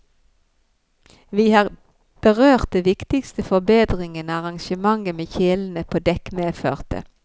Vi har berørt de viktigste forbedringene arrangementet med kjelene på dekk medførte.